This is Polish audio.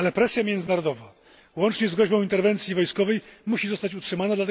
Ale presja międzynarodowa, łącznie z groźbą interwencji wojskowej, musi zostać utrzymana.